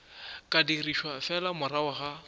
ka dirišwa fela morago ga